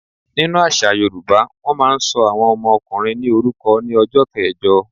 Nínu àṣà yoòbá, wọ́n máa n sọ àwọn ọmọ ọkùnrin ní orúkọ ní ọjọ́ kẹẹ̀jọ